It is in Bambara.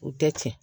U tɛ tiɲɛ